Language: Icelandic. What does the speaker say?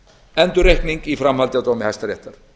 endurreikning í framhaldi af dómi hæstaréttar